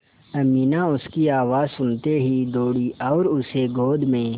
अमीना उसकी आवाज़ सुनते ही दौड़ी और उसे गोद में